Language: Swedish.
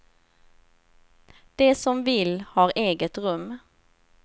De som vill har eget rum.